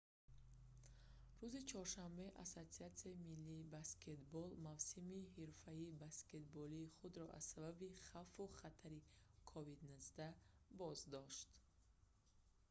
рӯзи чоршанбе ассотсиатсияи миллии баскетбол nba мавсими ҳирфаии баскетболии худро аз сабаби хавфу хатари covid-19 боздошт